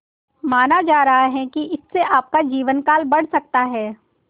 माना जा रहा है कि इससे आपका जीवनकाल बढ़ सकता है